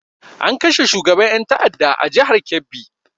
An kashe shugaban ƴan ta'adda a jihar kebbi.